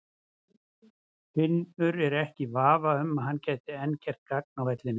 Finnur er ekki í vafa um að hann gæti enn gert gagn á vellinum.